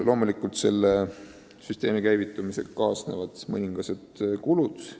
Loomulikult kaasnevad selle süsteemi käivitumisega mõningased kulud.